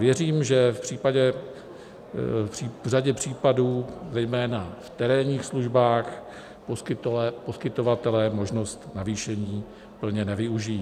Věřím, že v řadě případů, zejména v terénních službách, poskytovatelé možnost navýšení plně nevyužijí.